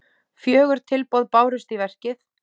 Fjögur tilboð bárust í verkið.